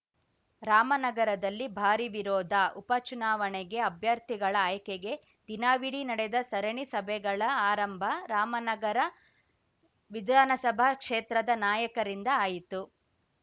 ರಾಮನಗರದಲ್ಲಿ ಭಾರಿ ವಿರೋಧ ಉಪ ಚುನಾವಣೆಗೆ ಅಭ್ಯರ್ಥಿಗಳ ಆಯ್ಕೆಗೆ ದಿನವಿಡೀ ನಡೆದ ಸರಣಿ ಸಭೆಗಳ ಆರಂಭ ರಾಮನಗರ ವಿಧಾನಸಭಾ ಕ್ಷೇತ್ರದ ನಾಯಕರಿಂದ ಆಯಿತು